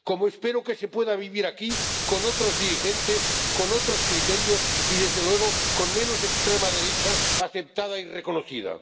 Como espero que se pueda vivir aquí con otros dirigentes, con otros criterios y, desde luego, con menos extrema derecha aceptada y reconocida.